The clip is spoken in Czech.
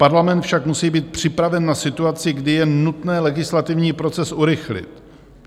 Parlament však musí být připraven na situaci, kdy je nutné legislativní proces urychlit.